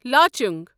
Lachung